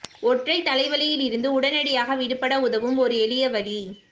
ஒற்றைத் தலைவலியில் இருந்து உடனடியாக விடுபட உதவும் ஓர் எளிய வழி